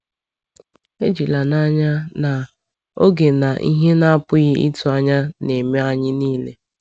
“Ejila n’anya na ‘oge na ihe na-apụghị ịtụ anya’ na-eme anyị niile.”